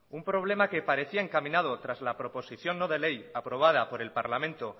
un problema que parecía encaminado tras la proposición no de ley aprobada por el parlamento